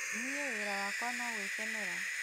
Niĩ wĩra wakwa no gwĩkenera